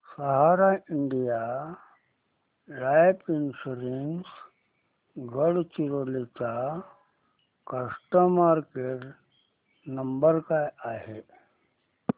सहारा India life insurance Gadchiroli चा customer care number काय आहे